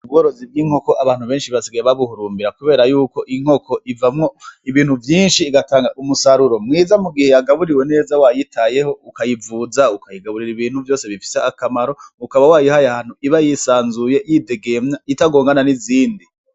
Ubworozi bw'inkoko abantu benshi basigaye babuhurumbira kubera yuko inkoko ivamwo ibintu vyinshi, igatanga umusaruro mwiza mugihe yagaburiwe neza wayitayeho, ukayivuza, ukayigaburira ibintu vyonse bifise akamaro, ukaba wayihaye ahantu iba yisanzuye, yidegemvya, itagongana n'izindi.